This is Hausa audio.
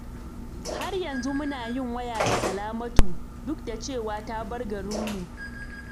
Har yanzu muna yin waya da Salamatu, duk da cewa ta bar garinmu.